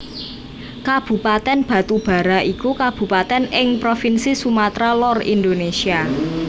Kabupatèn Batubara iku kabupatèn ing Provinsi Sumatra Lor Indonésia